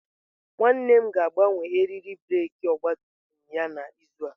Nwanne m ga-agbanwe eriri breeki ọgabtumtum ya n'izu a.